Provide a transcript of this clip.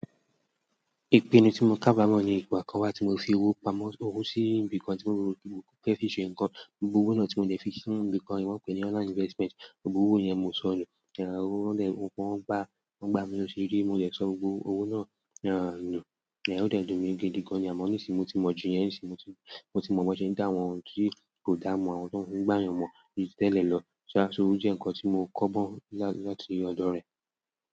Ìpinnu tí mo káàbámọ̀ ni ìgbà kan wà tí mo fi owó pamọ́, f'owó sí ibì kan tí mo ò rántí mọ́ fẹ́ fi ṣe nǹkan, gbogbo owó náà tí mo dẹ̀ fi sí ibì kan yìí, wọ́n pè é ní online investment, gbogbo owó yẹn mo so nù, owó náà wọ́n gbá mi ló ṣe rí, mo dẹ̀ sọ gbogbo owó náà nù, ó dẹ̀ dùn mí gidigan ni à mọ́ nísìnyí mo ti mọ̀ jù yẹn nísìnyí, moti mọ̀ bọ́ se ń dá wọn tí, ìdánimọ̀ àwọn tó fi ń gbá yàn mọ̀ ju ti tẹ́lẹ̀ lọ, sọ ṣá ó jẹ́ ǹkan tí mo kọ́gbọ́n láti ọ̀dọ̀ rẹ̀.